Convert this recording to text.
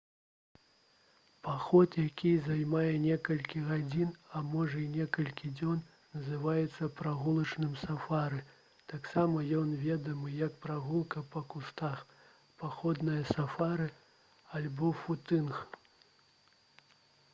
паход які займае некалькі гадзін а можа і некалькі дзён называецца прагулачным сафары. таксама ён вядомы як «прагулка па кустах» «паходнае сафары» альбо «футынг»